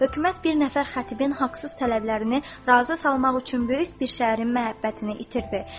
Hökumət bir nəfər xətibin haqsız tələblərini razı salmaq üçün böyük bir şəhərin məhəbbətini itirdi.